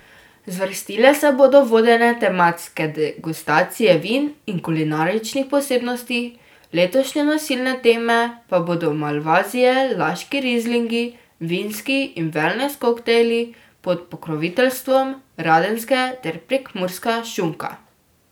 Zvrstile se bodo vodene tematske degustacije vin in kulinaričnih posebnosti, letošnje nosilne teme pa bodo malvazije, laški rizlingi, vinski in velnes koktajli pod pokroviteljstvom Radenske ter Prekmurska šunka.